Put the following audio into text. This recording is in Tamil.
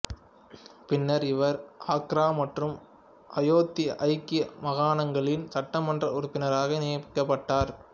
பின்னர் இவர் ஆக்ரா மற்றும் அயோத்தி ஐக்கிய மாகாணங்களின் சட்டமன்ற உறுப்பினராக நியமிக்கப்பட்டார்